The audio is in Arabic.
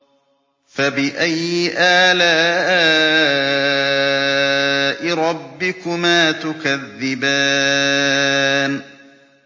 فَبِأَيِّ آلَاءِ رَبِّكُمَا تُكَذِّبَانِ